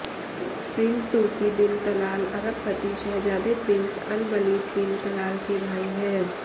Prince Turki bin Talal अरबपति शहज़ादे prince Alwaleed bin Talal के भाई हैं